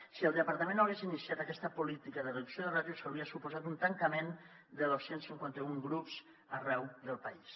si el departament no hagués iniciat aquesta política de reducció de ràtios hauria suposat un tancament de dos cents i cinquanta un grups arreu del país